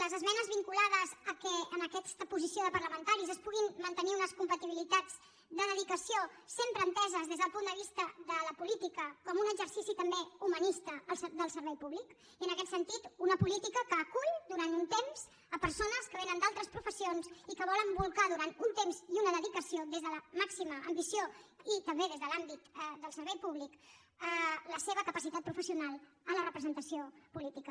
les esmenes vinculades al fet que en aquesta posició de parlamentaris es puguin mantenir unes compatibilitats de dedicació sempre enteses des del punt de vista de la política com un exercici també humanista del servei públic i en aquest sentit una política que acull durant un temps persones que vénen d’altres professions i que volen bolcar durant un temps i una dedicació des de la màxima ambició i també des de l’àmbit del servei públic la seva capacitat professional a la representació política